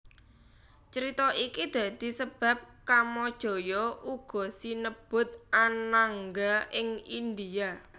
Crita iki dadi sebab Kamajaya uga sinebut Anangga ing India